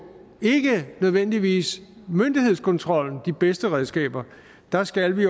ikke nødvendigvis myndighedskontrollen de bedste redskaber der skal vi